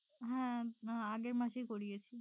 হ্যাঁ আগের আহ মাসেই করিয়েছি।